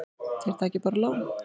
Þeir taki bara lán.